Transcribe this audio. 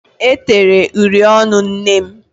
E tere uri ọnụ nnem.